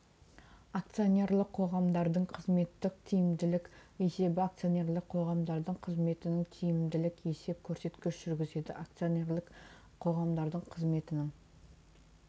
акционерлік қоғамдардың қызметінің тиімділік есебі акционерлік қоғамдардың қызметінің тиімділік есеп көрсеткішін жүргізеді акционерлік қоғамдардың қызметінің